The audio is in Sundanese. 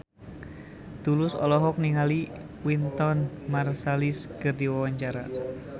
Tulus olohok ningali Wynton Marsalis keur diwawancara